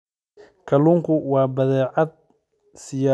Kalluunku waa badeecad siyaabo badan loo isticmaali karo.